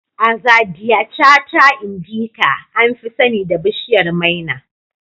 Azadiachta indica, an fi sani da bishiyar maina